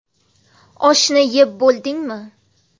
Oshni yeb bo‘ldingmi?